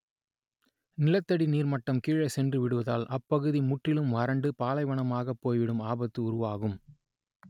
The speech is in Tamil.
நிலத்தடி நீர்மட்டம் கீழே சென்றுவிடுவதால் அப்பகுதி முற்றிலும் வறட்டு பாலைவனமாகப் போய்விடும் ஆபத்து உருவாகும்